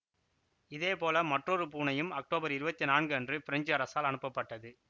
இதேபோல மற்றொரு பூனையும் அக்டோபர் இருவத்தி நான்கு அன்று பிரெஞ்சு அரசால் அனுப்பப்பட்டது